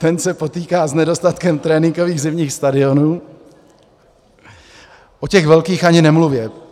Ten se potýká s nedostatkem tréninkových zimních stadionů, o těch velkých ani nemluvě.